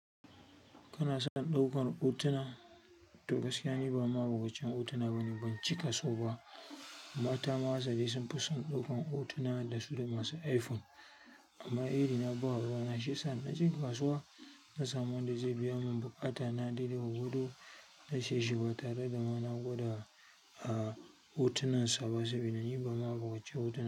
Kana son ɗaukar hotuna? To gaskiya, ni ba ma'abucin hotuna bane, ban cika so ba. Mata hasali sunfi son ɗaukar hotuna dasu da masu iPhone amma iri na ba ruwana shiyasa naje kasuwa nasamu wanda zai biyamun buƙata na dai dai gwargwado na sayeshi batare da ma na gwada hotunan sa saboda ni ba ma'abuci hotuna.